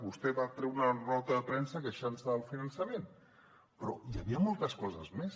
vostè va treure una nota de premsa queixant se del finançament però hi havia moltes coses més